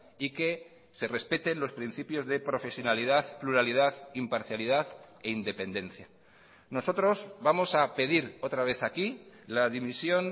y que se respeten los principios de profesionalidad pluralidad imparcialidad e independencia nosotros vamos a pedir otra vez aquí la dimisión